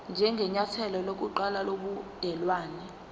njengenyathelo lokuqala lobudelwane